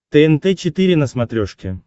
тнт четыре на смотрешке